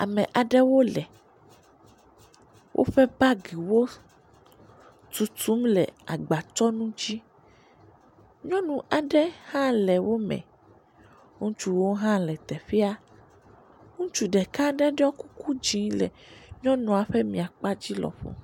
Ame aɖewo le woƒe bagiwo tutum le gbatsɔnu dzi, nyɔnu aɖe hã le wo me, ŋutsuwo hã le teƒea, ŋutsu ɖeka ɖe ɖɔ kuku dzĩ le nyɔnua ƒe miakpadzi lɔ ƒo.